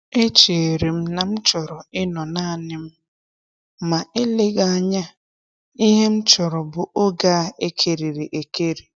Echere m na m chọrọ ịnọ naanị m, ma eleghị anya ihe m chọrọ bụ oge a ekerịrị ekerị.